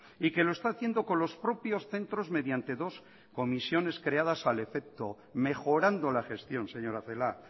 y que lo está haciendo con los propios centros mediante dos comisiones creadas al efecto mejorando la gestión señora celaá